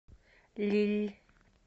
лилль